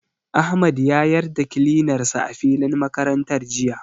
Ahmad ya yar da kilinar sa a filin makarantar jiya.